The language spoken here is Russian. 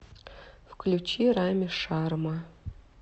включи рамми шарма